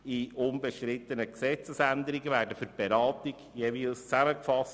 Die unbestrittenen Gesetzesänderungen werden für die Beratung jeweils zusammengefasst.